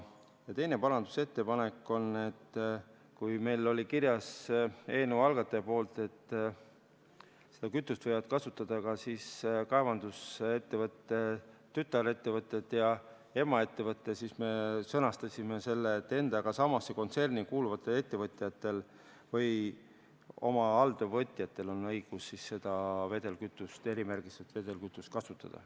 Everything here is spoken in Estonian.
Teine parandusettepanek on see, et kui oli kirjas eelnõu algataja poolt, et seda kütust võivad kasutada ka kaevandusettevõtte tütarettevõtted ja emaettevõte, siis meie sõnastasime selle nii, et endaga samasse kontserni kuuluval ettevõtjal või oma alltöövõtjal on õigus seda erimärgistatud vedelkütust kasutada.